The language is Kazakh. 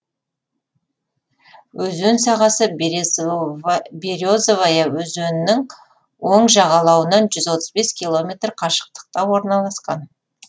өзен сағасы березовая өзенінің оң жағалауынан жүз отыз бес километр қашықтықта орналасқан